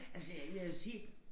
Altså jeg vil jo sige